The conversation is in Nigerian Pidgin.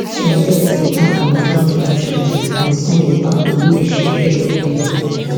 some deaths dey happun witout much notice and some dey happun wey dey shake evriwia